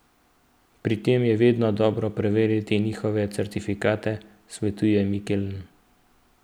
Pri tem je vedno dobro preveriti njihove certifikate, svetuje Mikeln.